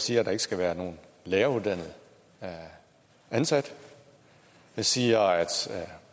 siger at der ikke skal være nogen læreruddannet ansat det siger at